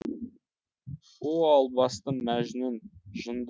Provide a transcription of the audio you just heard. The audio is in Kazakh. о албасты мәжнүн жынды